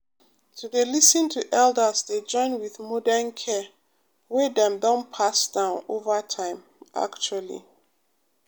to dey lis ten to elders dey join with modern care wey dem don pass down over time actually